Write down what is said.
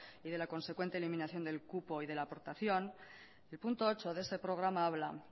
y de la consecuente eliminación del cupo y de la aportación el punto ocho de ese programa habla